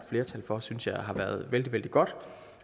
flertal for synes jeg har været vældig vældig godt